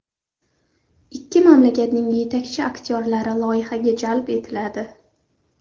Ikki mamlakatning yetakchi aktyorlari loyihaga jalb etiladi.